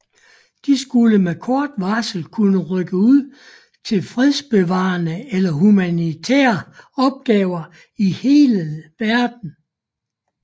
De skulle med kort varsel kunne rykke ud til fredsbevarende eller humanitære opgaver i hele verden